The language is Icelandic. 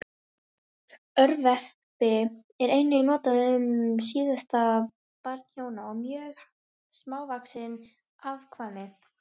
Örverpi er einnig notað um síðasta barn hjóna og mjög smávaxið afkvæmi.